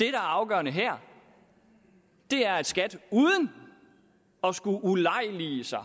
er afgørende her er at skat uden at skulle ulejlige sig